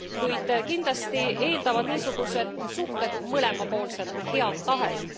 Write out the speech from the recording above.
Kuid kindlasti eeldavad niisugused suhted mõlemapoolset head tahet.